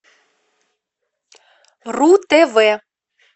ру тв